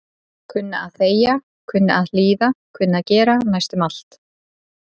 Kunna að þegja, kunna að hlýða kunna að gera næstum allt.